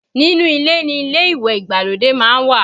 Nínú ilé ni ilé ìwẹ̀ ìgbàlódé má ń wà